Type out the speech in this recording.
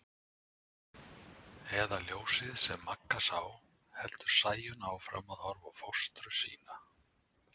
Eða ljósið sem Magga sá, heldur Sæunn áfram og horfir á fóstru sína.